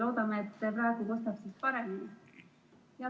Loodame, et praegu kostab siis paremini.